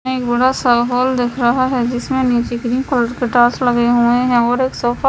बड़ा सा हॉल दिख रहा है जिसमें निचे ग्रीन कलर के टाइल्स लगे हुए हैं और एक सोफा--